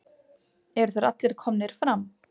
Eru þeir allir komnir fram?